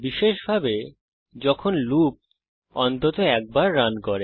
বিশেষভাবে যখন লুপ অন্তত একবার রান করে